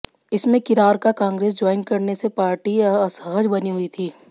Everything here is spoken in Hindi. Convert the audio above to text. इसमें किरार का कांग्रेस ज्वाइन करने से पार्टी असहज बनी हुई थी